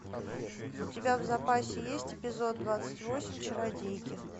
у тебя в запасе есть эпизод двадцать восемь чародейки